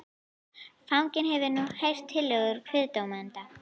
Fanginn hefur nú heyrt tillögur kviðdómenda.